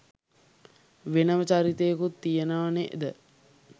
වෙනම චරිතයකුත් තියෙනවා නේද?